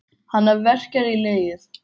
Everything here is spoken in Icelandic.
Hana verkjar í legið.